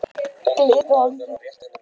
Glitvangi